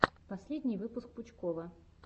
последний выпуск пучкова